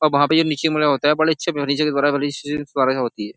अब वहाँ पे ये नीचे मुड़ा होता हैं। बड़े अच्छे फर्निचर के द्वारा होती हैं।